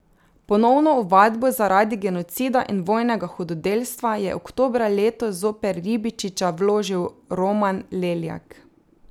Ponovno ovadbo zaradi genocida in vojnega hudodelstva je oktobra letos zoper Ribičiča vložil Roman Leljak.